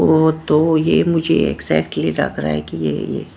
वो तो ये मुझे एग्जैक्टली लग रहा है कि--